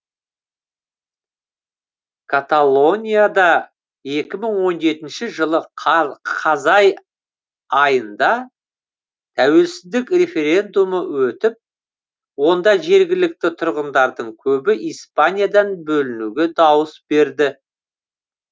каталонияда екі мың он жетінші жылы қазай айында тәуелсіздік референдумы өтіп онда жергілікті тұрғындардың көбі испаниядан бөлінуге дауыс берді